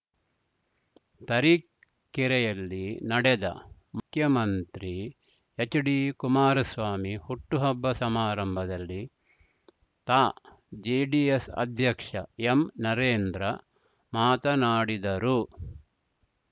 ತರೀಕೆರೆಯಲ್ಲಿ ನಡೆದ ಮುಖ್ಯಮಂತ್ರಿ ಎಚ್‌ಡಿ ಕುಮಾರಸ್ವಾಮಿ ಹುಟ್ಟುಹಬ್ಬ ಸಮಾರಂಭದಲ್ಲಿ ತಾ ಜೆಡಿಎಸ್‌ ಅಧ್ಯಕ್ಷ ಎಂನರೇಂದ್ರ ಮಾತನಾಡಿದರು